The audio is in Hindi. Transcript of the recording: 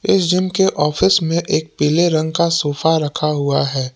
इस जिम के ऑफिस में एक पीले रंग का सोफा रखा हुआ है।